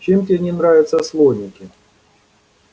чем тебе не нравятся слоники